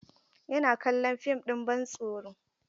Yana kallon fim ɗin bantsoro.